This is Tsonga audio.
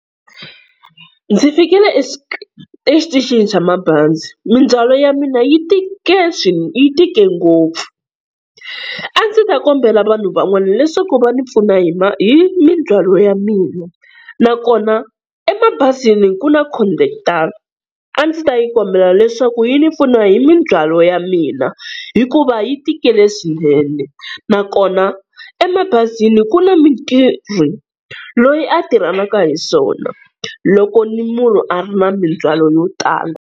Ndzi fikile exitichini xa mabazi mindzhwalo ya mina yi yi tike ngopfu, a ndzi ta kombela vanhu van'wana leswaku va ni pfuna hi ma hi mindzhwalo ya mina, nakona emabazini ku na khondakitara a ndzi ta yi kombela leswaku yi ni pfuna hi mindzhwalo ya mina hikuva yi tikile swinene, nakona emabazini ku na mutirhi loyi a tirhanaka na swona loko munhu a ri na mindzhwalo yo tala.